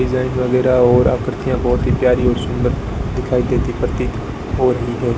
Design वगैरह और आकृतियां बहुत ही प्यारी और सुंदर दिखाई देती प्रतीत हो रही है।